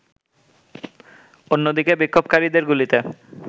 অন্যদিকে বিক্ষোভকারিদের গুলিতে